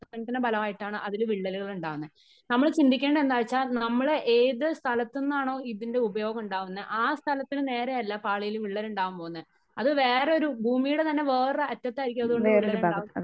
പ്രവർത്തനത്തിന്റെ ഫലമായിട്ടാണ് അതിൽ വിള്ളലുകൾ ഉണ്ടാകുന്നത്. നമ്മൾ ചിന്തിക്കേണ്ടത് എന്താണ് വച്ചാൽ നമ്മള് ഏത് സ്ഥലത്ത് നിന്നാണോ ഇതിന്റെ ഉപയോഗം ഉണ്ടാകുന്നേ ആ സ്ഥലത്തിന് നേരെയല്ല പാളിയിൽ വിളളലുണ്ടാകാൻ പോകുന്നേ . അത് വേറെ ഒരു ഭൂമിയുടെ തന്നെ വേറെ ഒരു അറ്റത്തായിരിക്കും അത്കൊണ്ട് വിള്ളലുണ്ടാകുന്നത്.